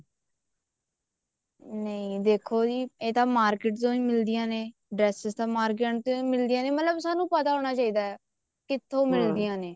ਨਹੀਂ ਦੇਖੋ ਜੀ ਇਹ ਤਾਂ market ਚੋਂ ਵੀ ਮਿਲਦੀਆਂ ਨੇ dresses ਤਨ market ਚੋਂ ਵੀ ਮਿਲਦੀਆਂ ਨੇ ਮਤਲਬ ਸਾਨੂੰ ਪਤਾ ਹੋਣਾ ਚਾਹੀਦਾ ਕਿੱਥੋਂ ਮਿਲਦੀਆਂ ਨੇ